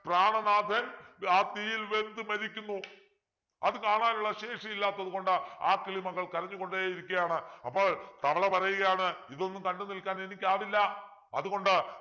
പ്രാണനാഥൻ ആ തീയിൽ വെന്തു മരിക്കുന്നു അത് കാണാനുള്ള ശേഷിയില്ലാത്തതുകൊണ്ട് ആ കിളിമകൾ കരഞ്ഞുകൊണ്ടേ ഇരിക്കയാണ് അപ്പോൾ തവള പറയുകയാണ് ഇതൊന്നും കണ്ടുനിൽക്കാൻ എനിക്ക് ആവില്ല അതുകൊണ്ട്